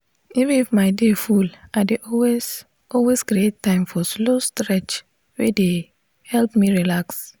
even if my day full i dey always always create time for slow stretch wey dey help me relax.